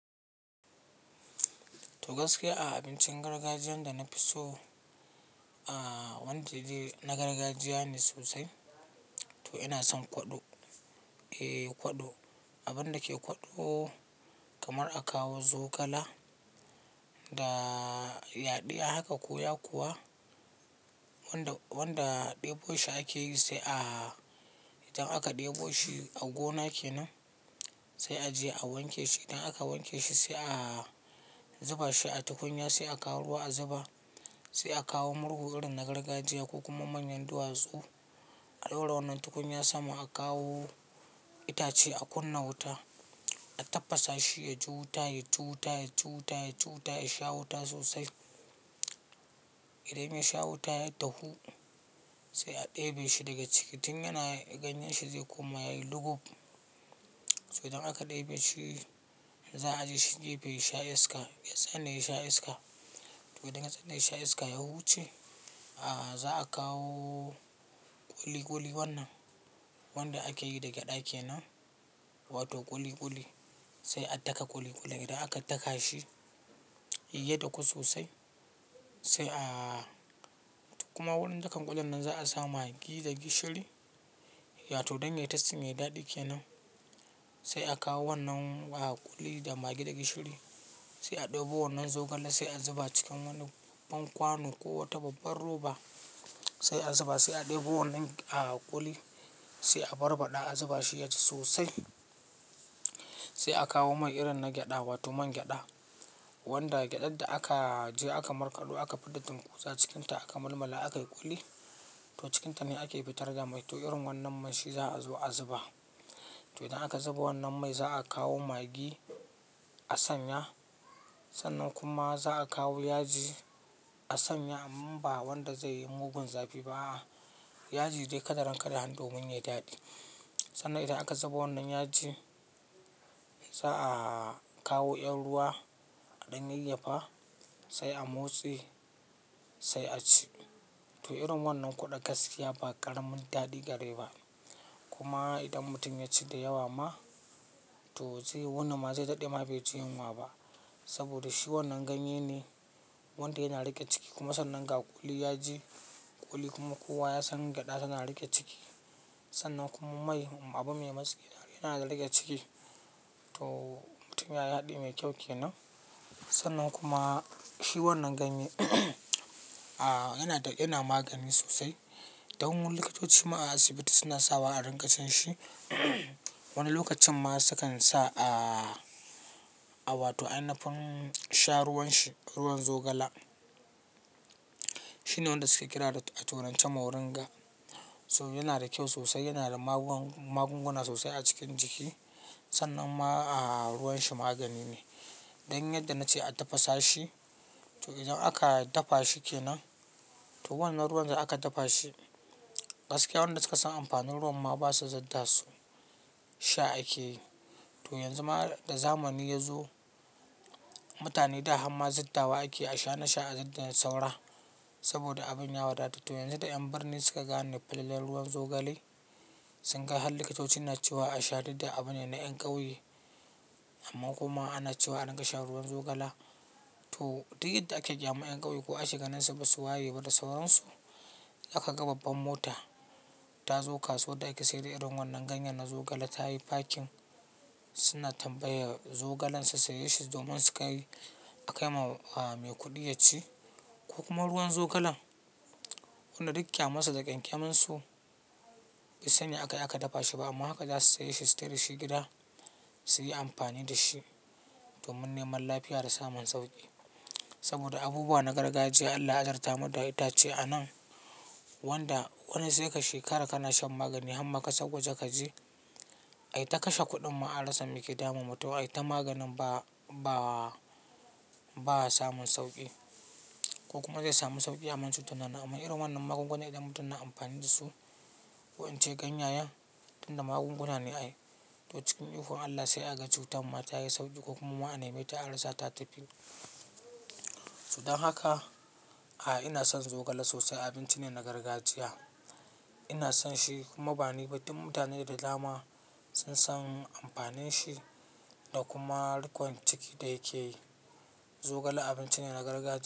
To gaskiya a abincin gargajiyan da na fi so, ah wanda dai na gargajiya ne sosai. To ina son kwaɗo, eh kwaɗo abin da ke kwaɗo kamar a kawo zogala da yaɗiya haka, ko yakuwa wanda ɗebo shi ake yi sai idan aka ɗebo shi a gona kenan sai a je a wanke shi. Idan aka wanke shi sai a zuba shi a tukunya sai a kawo ruwa a zuba, sai a kawo murhu irin na gargajiya ko kuma manyan duwatsu a ɗaura wannan tukunya sama a kawo itace a kunna wuta, a tafasa shi, ya ji wuta, ya ji wuta, ya ji wuta, ya sha wuta sosai. Idan ya sha wuta ya dahu sai a ɗebe shi daga ciki tun yana ganyen shi zai koma yayi lugub. To idan aka ɗebe shi za a je shi gefe yasha iska ya tsane, ya sha iska. To idan ya tsane, ya sha iska ya huce ah za'a kawo ƙuli-ƙuli wannan wanda ake yi da gyaɗa kenan, wato ƙuli-ƙuli sai a daka ƙuli-ƙulin. Idan aka daka shi ya daku sosai sai a kuma wurin dakan ƙulin nan za'a sa maggi da gishiri, ya toh don yayi tasting, yayi daɗi kenan. Sai a kawo wannan ƙuli da maggi da gishiri sai a ɗebo wannan zogale sai a zuba cikin wani babban kwano ko wata babbar roba sai a zuba sai a ɗebo wannan ah ƙuli sai a barbaɗa a zuba shi yaji sosai. Sai a kawo man irin na gyaɗa wato man gyaɗa wanda gyaɗaɗɗa aka je aka markaɗo aka fidda tinkuza cikinta aka malmala akayi ƙuli to cikinta ne ake fitar da mai. To irin wannan mai shi za'a zo a zuba. To idan aka zuba wannan mai za a kawo maggi a sanya, sannan kuma za a kawo yaji a sanya amma ba wanda zai yi mugun zafi ba. Yaji dai kadaran kadahan domin yayi daɗi. Sannan idan aka zuba wannan yaji za'a kawo 'yar ruwa a ɗan yayyafa sai a motse sai a ci. To irin wannan kwaɗo gaskiya ba ƙaramin daɗi gare ba. Kuma idan mutum ya ci da yawa ma to zai wuni ma zai daɗe ba bai ji yunwa ba saboda shi wannan ganye ne wanda yana riƙe ciki kuma sannan ga ƙuli, yaji, ƙuli kuma kowa ya san gyaɗa tana riƙe ciki. Sannan kuma mai abu mai masƙi yana da riƙe ciki to mutum yayi haɗi mai kyau kenan. Sannan kuma shi wannan ganye ah yana da yana magani sosai. Don wani likitoci a asibiti suna sawa a rinƙa cin shi wani lokacin ma sukan sa ah a wato ainafin sha ruwan shi, ruwan zogala. Shi ne wanda suke kira da tu a turance moringa. To yana da kyau sosai, yana da magunguna sosai a cikin jiki sannan ma ah ruwan shi magani ne. Don yadda na ce a tafasa shi to idan aka dafa shi kenan to wannan ruwan da aka dafa shi gaskiya wanda suka san amfanin ruwan ma ba su zidda su sha ake yi. To yanzu ma da zamani ya zo mutane da harma ziddawa ake a sha, nasha a ziddar da saura saboda abin ya wadata. To yanzu da 'yan birni suka gane falalar ruwan zogale sun ga har likitoci na cewa a sha duk da abu ne na 'yan ƙauye amma kuma ana cewa ana rinƙa shan ruwan zogala. To duk yadda ake ƙyamar 'yan ƙauye ko ake ganinsu basu waye ba da sauransu. Kaga babbar mota ta zo kasuwar da ake sayar da irin wannan ganye na zogala ta yi parking suna tambaya zogalan su saye shi domin su kai akai ma mai kuɗi ya ci ko kuma ruwan zogalan. Wanda duk kyamarsu da ƙyankyamin su basu san me akayi aka dafa shi ba amma haka za su sayi shi, su tafi dashi gida su yi amfani da shi domin neman lafiya da samun sauƙi. Saboda abubuwa na gargajiya Allah ya azurtamu da itace anan wanda wani sai ka shekara kana shan magani harma ƙasar waje kaje ai ta kashe kuɗin ma a rasa meke damun mutum ai ta maganin ba ba ba'a samun sauƙi ko kuma zai samu sauƙi amma cutar na nan. Amma irin wannan magunguna idan mutum yana amfani da su ko in ce ganyayen tun da magunguna ne ai to cikin ikon Allah sai a ga cutar ma tayi sauƙi ko kuma ma a nemeta a rasa ta tafi. To don ah haka ina son zogala sosai, abinci ne na gargajiya. Ina son shi kuma bani ba duk mutane da dama sun san amfanin shi da kuma riƙon ciki da yake yi. Zogala abinci ne na gargajiya.